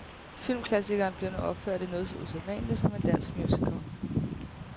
Filmklassikeren bliver nu opført i noget så usædvanligt som en dansk musical.